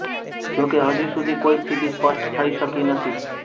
જોકે હજી સુધી કોઈ સ્થિતિ સ્પષ્ટ થઈ શકી નથી